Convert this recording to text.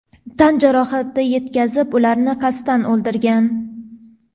tan jarohati yetkazib ularni qasddan o‘ldirgan.